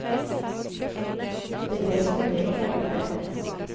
Det ble som det ble og ferdig med det.